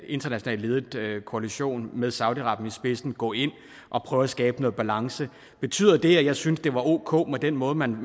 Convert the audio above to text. internationalt ledede koalition med saudi arabien i spidsen gå ind og prøve at skabe noget balance betyder det at jeg synes det var ok med den måde man